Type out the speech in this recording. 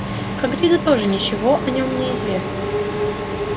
хагриду тоже ничего о нём не известно